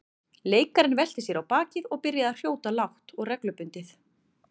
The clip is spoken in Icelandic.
Leikarinn velti sér á bakið og byrjaði að hrjóta lágt og reglubundið.